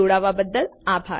જોડાવા બદ્દલ આભાર